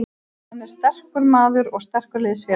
Hann er sterkur maður og sterkur liðsfélagi.